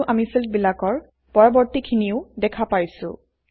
আৰু আমি ফিল্ডবিলাকৰ পৰৱৰ্তীখিনিও দেখা পাইছোঁ